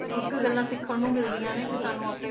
ਕੁੱਝ ਕੁ ਗੱਲਾਂ ਸਿੱਖਣ ਨੂੰ ਮਿਲਦੀਆਂ ਨੇ ਕਿ ਸਾਨੂੰ ਆਪੇ